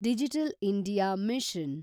digital India mission